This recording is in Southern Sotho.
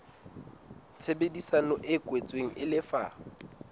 tshebedisano e kwetsweng e lefa